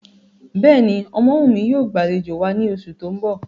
Bẹ́ẹ̀ni, Omowumi yóò gbalejo wa ni oṣu ti n bọ.